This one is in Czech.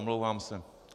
Omlouvám se.